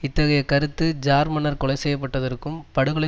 இத்தகைய கருத்து ஜார் மன்னர் கொலைசெய்யப்பட்டதற்கும் படுகொலை